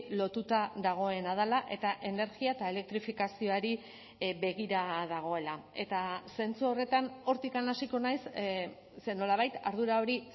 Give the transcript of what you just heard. lotuta dagoena dela eta energia eta elektrifikazioari begira dagoela eta zentzu horretan hortik hasiko naiz ze nolabait ardura hori